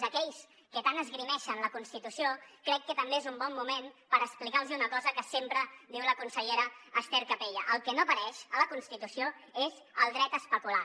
a aquells que tant esgrimeixen la constitució crec que també és un bon moment per explicar los hi una cosa que sempre diu la consellera ester capella el que no apareix a la constitució és el dret a especular